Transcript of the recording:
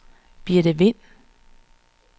Birthe Vind